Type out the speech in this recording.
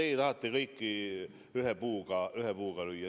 No teie tahate kõike ühe vitsaga lüüa.